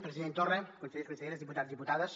president torra consellers conselleres diputats i diputades